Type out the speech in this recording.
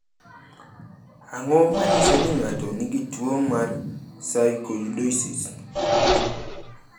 Ang’o ma nyiso ni ng’ato nigi tuwo mar Sarkoidosis?